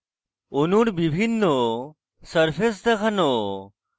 অনূর বিভিন্ন সারফেস দেখানো